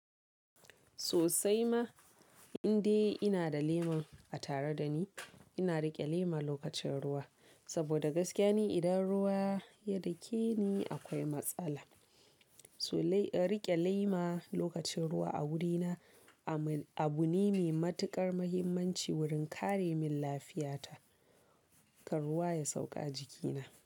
Sosai ma, indai ina da lema a tare da ni, ina riƙe lema lokacin ruwa saboda gaskiya ne idan ruwa ya dake ni akwai matsala. So riƙe lema lokacin ruwa a wurina abu ne mai matuƙar muhimmanci wurin kare min lafiyata, kar ruwa ya sauka ajikina.